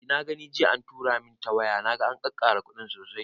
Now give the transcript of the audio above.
Eh na gani jiya an tura min ta waya, naga an kakkara kuɗin sosai